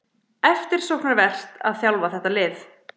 Eftirsóknarvert að þjálfa þetta lið